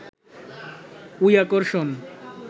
ওই আকর্ষণ